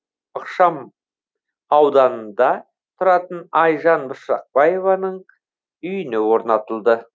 ықшам ауданында тұратын айжан бұршақбаеваның үйіне орнатылды